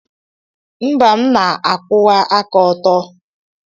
Mba, m na-akwụwa aka ọtọ.